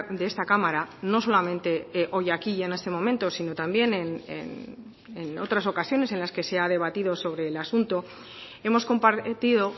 de esta cámara no solamente hoy aquí en este momento sino también en otras ocasiones en las que se ha debatido sobre el asunto hemos compartido